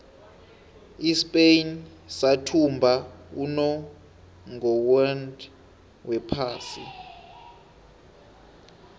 ispain sathumba unongorwond wephasi